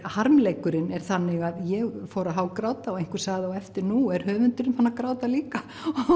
harmleikurinn er þannig að ég fór að hágráta og einhver sagði á eftir nú er höfundurinn farinn að gráta líka